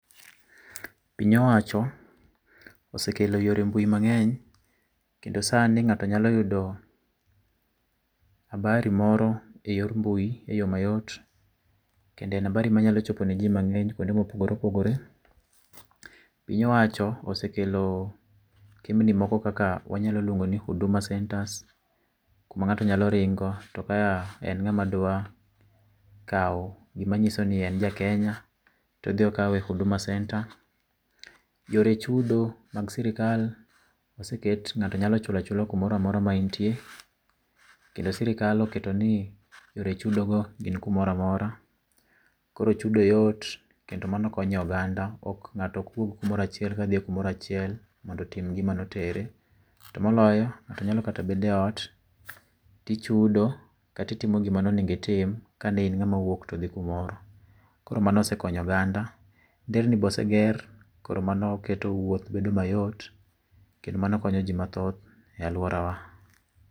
Piny owacho osekelo yore mbui mangeny kendo sani ngato nyalo yudo habari moro eyor mbui eyoo mayot kendo en habari manyalo chopo ne jii mangeny kuonde ma opogore opogore. Piny owacho osekelo kembni moko kakka wanyalo luongo ni Huduma Centres kuma ngato nyalo ringo to ka en ngama dwa kao gima nyiso ni en jakenya to odhi okawe Huduma Centre. Yore chudo mag sirkal oseket ngato nyalo chulo achula kamoro amora ma intie kendo sirkal osketo ni yore chudo go gin kamoro amora koro chudo yot kendo mano konyo oganda ngato ok wuog kumoro achiel kadhi kumoro achiel mondo tim gimane otere to moloyo ngato nyalo kata bedo e ot tichudo kata ittimo gima ne onego itim kani in ngama wuok kadhi kumoro. Nderni be oseger koro mano keto wuot bedo mayot kendo mano konyo jii mathoh e aluorawa